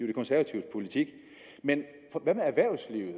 de konservatives politik men hvad med erhvervslivet